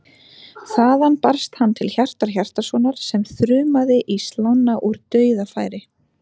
Þaðan barst hann til Hjartar Hjartarsonar sem þrumaði í slána úr dauðafæri.